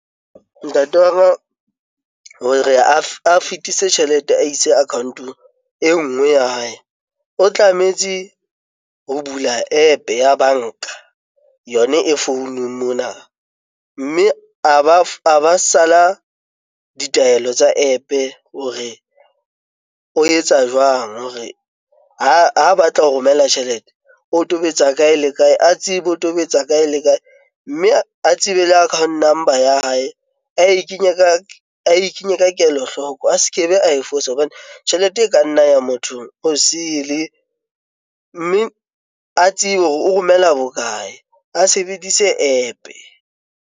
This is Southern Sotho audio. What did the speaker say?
Ntate wa ka hore a fetise tjhelete a itse account-ong e nngwe ya hae. O tlametse ho bula App-e ya banka, yona e founung mona. Mme a ba sala ditaelo tsa App-e hore o etsa jwang hore ha batla ho romela tjhelete o tobetsa kae le kae? A tsebe o tobetsa kae le kae? Mme a tsebe le account number ya hae, ae kenye ka, ae kenye ka kelohloko. A se kebe ae fosa hobane tjhelete e ka nna ya mothong o sele, mme a tsebe hore o romela bokae? a sebedise App-e.